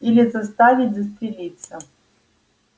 или заставить застрелиться